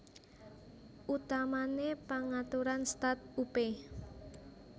Utamané pangaturan start upé